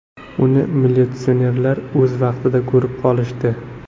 Uni militsionerlar o‘z vaqtida ko‘rib qolishdi.